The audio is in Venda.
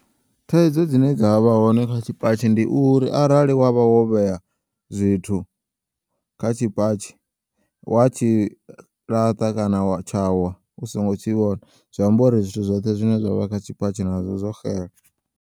Thaidzo dzine dzavha hone kha tshipatshi ndi uri arali wavha wo vheya zwithu kha tshipatshi, wa tshilaṱa kana tshawa u songo tshivhona zwiambori zwithu zwoṱhe zwine zwavha khatshipatshi nazwo zwo xela.